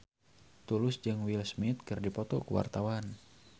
Tulus jeung Will Smith keur dipoto ku wartawan